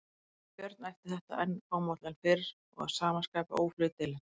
Varð Björn eftir þetta enn fámálli en fyrr og að sama skapi óhlutdeilinn.